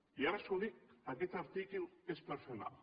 i ara els ho dic aquest article és per fer mal